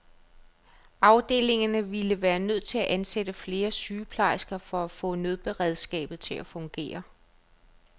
Afdelingerne ville være nødt til at ansætte flere sygeplejersker for at få nødberedskabet til at fungere.